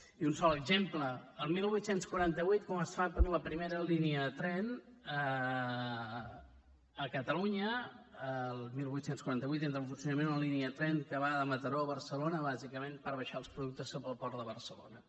i un sol exemple quan es fa la primera línia de tren a catalunya el divuit quaranta vuit entra en funcionament la línia de tren que va de mataró a barcelona bàsicament per baixar els productes cap al port de barcelona